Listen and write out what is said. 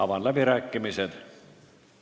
Avan läbirääkimised.